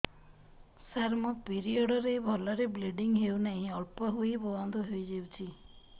ସାର ମୋର ପିରିଅଡ଼ ରେ ଭଲରେ ବ୍ଲିଡ଼ିଙ୍ଗ ହଉନାହିଁ ଅଳ୍ପ ହୋଇ ବନ୍ଦ ହୋଇଯାଉଛି